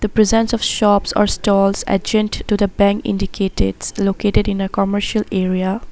The presence of shops or stalls adjacent to the bank indicated the located in the commercial area.